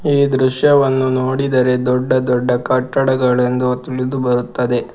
ಈ ದೃಶ್ಯವನ್ನು ನೋಡಿದರೆ ದೊಡ್ಡ ದೊಡ್ಡ ಕಟ್ಟಡಗಳೆಂದು ತಿಳಿದುಬರುತ್ತದೆ.